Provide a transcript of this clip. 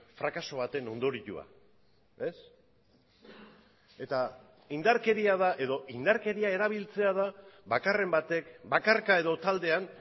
frakaso baten ondorioa indarkeria erabiltzea da bakarren batek bakarka edo taldean